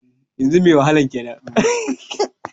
Ahmad musa kwararran Dan wasan kwallo ne na ƙasar Nigeria